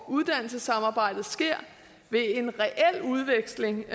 at uddannelsessamarbejdet sker ved en reel udveksling